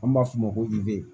An b'a f'o ma ko